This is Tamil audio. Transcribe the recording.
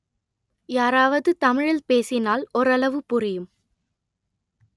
யாராவது தமிழில் பேசினால் ஓரளவு புரியும்